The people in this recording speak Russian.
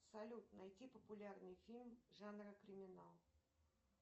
салют найти популярный фильм жанра криминал